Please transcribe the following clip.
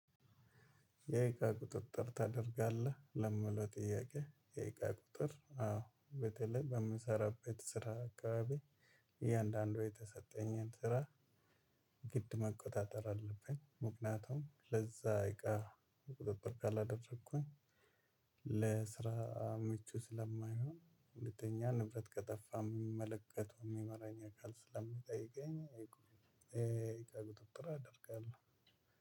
የእቃ ቁጥጥር ታደርጋለህ ለሚለው ጥያቄ? የእቃ ቁጥጥር አዎ በተለይ በምሰራበት ስራ አካባቢ እያንዳንዱ የተሰጠኝን ስራ ግድ መቆጣጠር አለብኝ። ምክንያቱም ለዛ እቃ ቁጥጥር ካላደረኩኝ ለስራ ምቹ ስለማይሆን ሁለተኛ ንብረት ከጠፋ የሚመለከተው የሚመራኝ አካል ስለሚጠይቀኝ። የእቃ ቁጥጥር አደርጋለሁ።